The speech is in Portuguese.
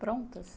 Prontas